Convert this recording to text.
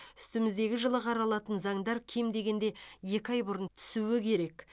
үстіміздегі жылы қаралатын заңдар кем дегенде екі ай бұрын түсуі керек